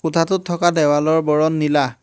খুঁটাটোত থকা দেৱালৰ বৰণ নীলা।